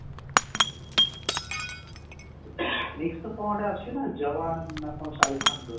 next ରେ କଣ ଗୋଟେ ଆସିବ ନା ଯବାନ ଶାହରୁଖ ର